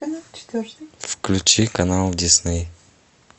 включи канал дисней